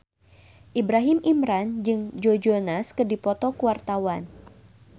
Ibrahim Imran jeung Joe Jonas keur dipoto ku wartawan